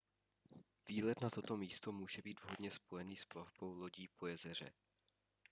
výlet na toto místo může být vhodně spojený s plavbou lodí po jezeře